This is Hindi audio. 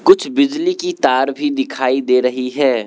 कुछ बिजली की तार भी दिखाई दे रही है।